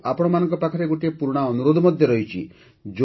ମୋର ଆପଣଙ୍କ ପାଖରେ ଗୋଟିଏ ପୁରୁଣା ଅନୁରୋଧ ମଧ୍ୟ ରହିଛି